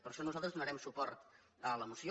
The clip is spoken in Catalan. per això nosaltres donarem suport a la moció